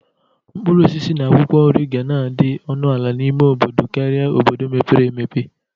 Mkpụrụosisi na akwụkwọ nri ga na-adị ọnụ ala n'ime obodo Kari n"obodo mepere emepe.